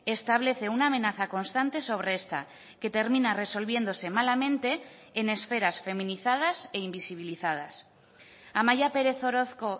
establece una amenaza constante sobre esta que termina resolviéndose malamente en esperas feminizadas e invisibilizadas amaia pérez orozco